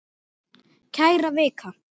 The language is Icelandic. Kæra Vika!